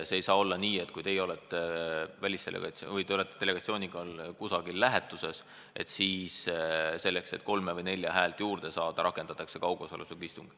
Ei saa olla nii, et kui teie olete delegatsiooniga kusagil lähetuses, et siis selleks, et kolme või nelja häält juurde saada, rakendatakse kaugosalusega istung.